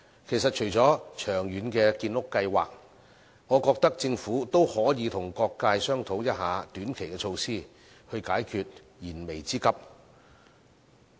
其實，除了長遠的建屋計劃，我認為政府也可以與各界商討短期措施，以解燃眉之急。